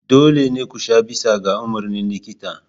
Dole ne ku sha bisa ga umarnin likita.